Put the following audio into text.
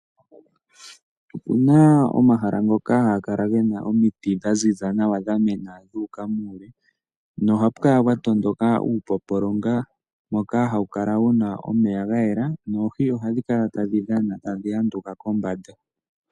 Opuna omahala ngoka haga kala gena omiti dhaziza nawa, dhamena dhuuka muule nohapu kala pwa tondoka uupopolonga , mboka hawu kala wuna omeya gayela noohi ohadhi kala tadhi dhana tadhi anduka kombanda.